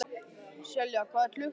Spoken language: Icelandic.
Selja, hvað er klukkan?